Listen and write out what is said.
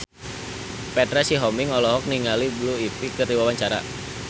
Petra Sihombing olohok ningali Blue Ivy keur diwawancara